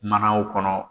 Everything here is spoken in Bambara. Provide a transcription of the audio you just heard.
Manaw kɔnɔ